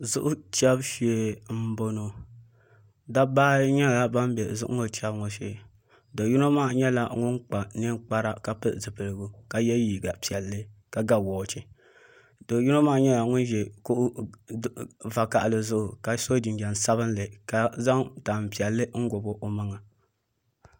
Zuɣu chɛbu shee n boŋo dabba ayi nyɛla ban bɛ zuɣu ŋo chɛbu ŋo shee do yino maa nyɛla ŋun kpa ninkpara ka pili zipiligu ka yɛ liiga piɛlli ka ga woochi do yino maa nyɛla ŋun ʒi kuɣu vakaɣali zuɣu ka so jinjɛm sabinli ka zaŋ tanpiɛlli n gobi o maŋa